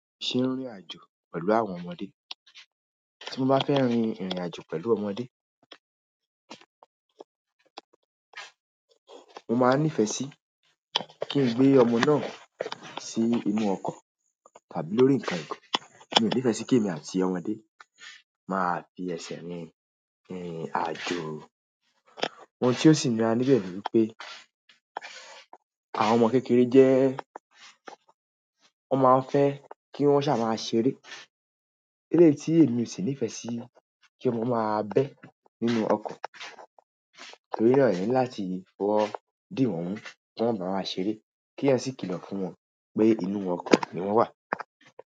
Ṣé irìnrìn àjò pẹ̀lú àwọn ọmọdé, tí mo bá fẹ́ rin ìrìn àjò pẹ̀lú ọmọdé, mo máa nífẹ̀ẹ́ sí kí n gbé ọmọ náà sí inú ọkọ̀ tàbí lórí ǹkan ìgò. Mi ò nífẹ̀ẹ́ sí kí èmi àti ọmọdé máa fi ẹsẹ̀ rin ìrìn àjò. Ohun tí ó sì nira níbẹ̀ ni pé àwọn ọmọ kékeré jẹ́, wọn máa ń fẹ́ kí wọ́n ṣà máa ṣeré. Elé yìí ti èmi ò sì nífẹ̀ẹ́ sí kí ọmọ máa bẹ́ nínú ọkọ̀. Torina eeyan ni láti fowo di won mu kon moba ṣeré ki eeyan si kilo fún won pe inú oko ni won wa.